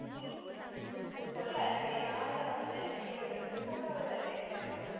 ഉം ഉം ഉം കൊള്ളാലേടി ആധാർ വന്നതിനു ശേഷം ഈയൊരു നല്ല ഒരു ഇതല്ലേ എല്ലാർക്കും.